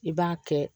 I b'a kɛ